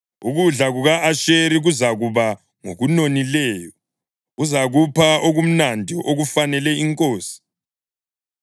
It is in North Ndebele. Ukudla kuka-Asheri kuzakuba ngokunonileyo, uzakupha okumnandi okufanele inkosi.